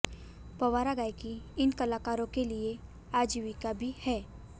पंवारा गायकी इन कलाकारों के लिए आजीविका भी है